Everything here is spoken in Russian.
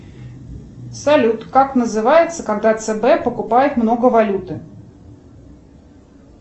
салют как называется когда цб покупает много валюты